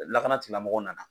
Lakanatigilamɔgɔw nana.